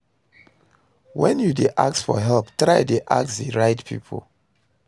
when you de ask for help try de ask the right pipo